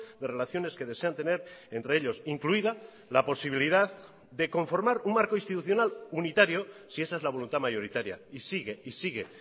de relaciones que desean tener entre ellos incluida la posibilidad de conformar un marco institucional unitario si esa es la voluntad mayoritaria y sigue y sigue